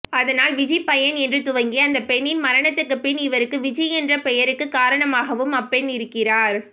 அதனால் விஜி பையன் என்று துவங்கி அந்தப் பெண்ணின் மரணத்துக்குப்பின் இவருக்கு விஜி என்ற பெயருக்குக் காரணமாகவும் அப்பெண்ணிருக்கிறார்